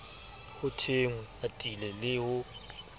ho thwenge atile le ho